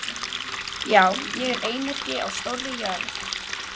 Já, ég er einyrki á stórri jörð.